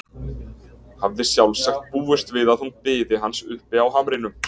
Hafði sjálfsagt búist við að hún biði hans uppi á hamrinum.